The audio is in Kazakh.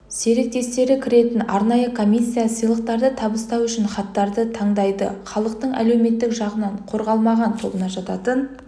серіктестері кіретін арнайы комиссия сыйлықтарды табыстау үшін хаттарды таңдайды халықтың әлеуметтік жағынан қорғалмаған тобына жататын